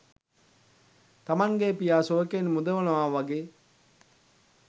තමන්ගේ පියා සෝකයෙන් මුදවනවා වගේ්